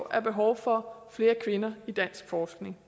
er behov for flere kvinder i dansk forskning